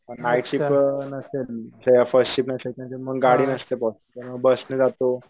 Night shift नसते जेव्हा first shift असेल म्हणजे मग गाडी नसते बुवा तेव्हा बस ने जातो.